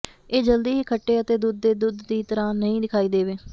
ਇਹ ਜਲਦੀ ਹੀ ਖੱਟੇ ਅਤੇ ਦੁੱਧ ਦੇ ਦੁੱਧ ਦੀ ਤਰ੍ਹਾਂ ਨਹੀਂ ਦਿਖਾਈ ਦੇਵੇ